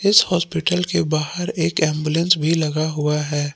इस हॉस्पिटल के बाहर एक एंबुलेंस भी लगा हुआ है।